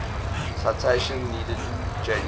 citation needed january